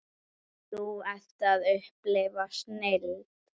Þú ert að upplifa snilld.